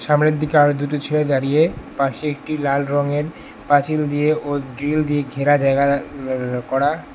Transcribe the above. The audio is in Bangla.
সামনের দিকে আরো দুটি ছেলে দাঁড়িয়ে পাশে একটি লাল রঙের পাঁচিল দিয়ে ও গ্রিল দিয়ে ঘেরা জায়গা করা।